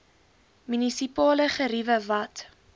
munisipale geriewe wat